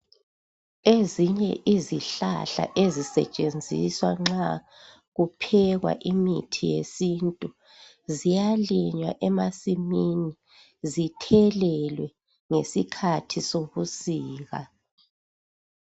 Ezinye izihlahla ezisetshenziswa nxa kuphekwa imithi yesintu ziyalinywa emasimini. Zithelelwe ngesikhathi sobusika.